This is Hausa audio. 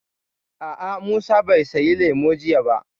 A'a, Musa bai saya lemu jiya ba